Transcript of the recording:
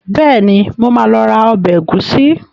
Bẹ́ẹ̀ni, mo máa lọ ra ọbẹ̀ ẹ̀gúsí.